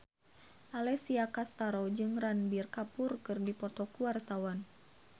Alessia Cestaro jeung Ranbir Kapoor keur dipoto ku wartawan